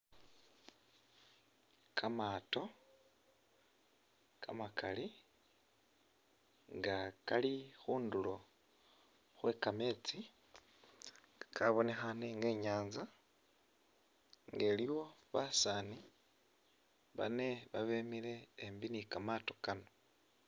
Kamato kamakali nga kali khundulo khwe kametsi kabonekhane nga inyatsa nga iliwo basani bane babemile ambi ni kamato kano.